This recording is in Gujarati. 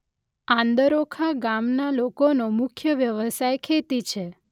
આંદરોખા ગામના લોકોનો મુખ્ય વ્યવસાય ખેતી છે